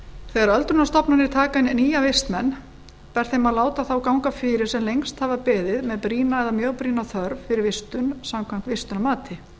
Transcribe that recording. þegar öldrunarstofnanir taka inn nýja vistmenn ber þeim að láta þá ganga fyrir sem lengst hafa beðið með brýna eða mjög brýna þörf fyrir vistun samkvæmt vistunarmati